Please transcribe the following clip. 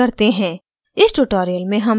इसे सारांशित करते हैं